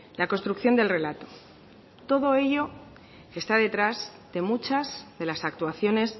la construcción del relato todo ello está detrás de muchas de las actuaciones